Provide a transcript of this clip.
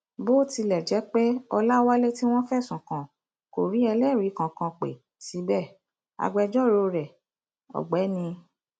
bó tilẹ jẹ pé ọlàwálé tí wọn fẹsùn kàn kò rí ẹlẹrìí kankan pé síbẹ agbẹjọrò rẹ ọgbẹni m